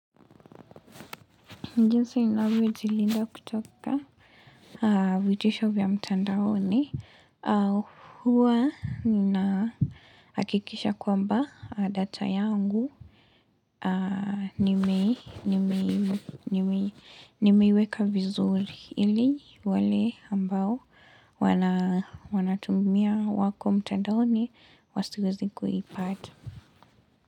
Jinsi ninavyojilinda kutoka vitisho vya mtandaoni, Huwa ninahakikisha kwamba data yangu Nimeiweka vizuri ili wale ambao wanatumia wako mtandaoni Wasiwezi kuipata.